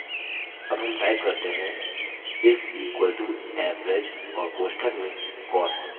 अब हम type करते हैं = average और कोष्ठक में cost